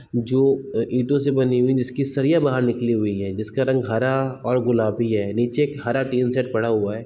जो ईटो से बनी हुई जिसकी सरिया बाहर निकली हुई है जिसका रंग हरा और गुलाबी है नीचे एक हरा टीन शेड पड़ा हुआ है।